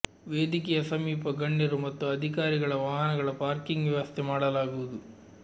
ವೇದಿಕೆಯ ಸಮೀಪ ಗಣ್ಯರು ಮತ್ತು ಅಧಿಕಾರಿಗಳ ವಾಹನಗಳ ಪಾರ್ಕಿಂಗ್ ವ್ಯವಸ್ಥೆ ಮಾಡಲಾಗುವುದು